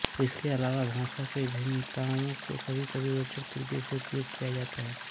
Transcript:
इसके अलावा भाषा की भिन्नताओं को कभीकभी रोचक तरीके से उपयोग किया जाता है